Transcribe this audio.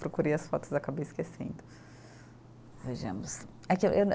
Procurei as fotos e acabei esquecendo. Vejamos